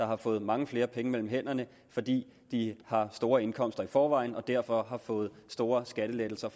har fået mange flere penge mellem hænderne fordi de har store indkomster i forvejen og derfor har fået store skattelettelser